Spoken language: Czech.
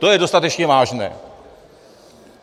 To je dostatečně vážné.